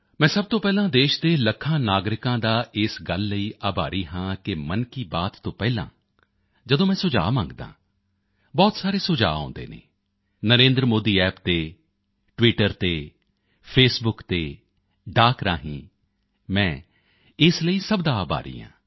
ਮੈਂ ਸਭ ਤੋਂ ਪਹਿਲਾਂ ਦੇਸ਼ ਦੇ ਲੱਖਾਂ ਨਾਗਰਿਕਾਂ ਦਾ ਇਸ ਗੱਲ ਲਈ ਆਭਾਰੀ ਹਾਂ ਕਿ ਮਨ ਕੀ ਬਾਤ ਤੋਂ ਪਹਿਲਾਂ ਜਦੋਂ ਮੈਂ ਸੁਝਾਅ ਮੰਗਦਾ ਹਾਂ ਬਹੁਤ ਸਾਰੇ ਸੁਝਾਅ ਆਉਂਦੇ ਹਨ ਨਰੇਂਦਰਮੋਦੀਅੱਪ ਤੇ ਟਵਿੱਟਰ ਤੇ ਫੇਸਬੁਕ ਤੇ ਡਾਕ ਰਾਹੀਂ ਮੈਂ ਇਸ ਲਈ ਸਭ ਦਾ ਆਭਾਰੀ ਹਾਂ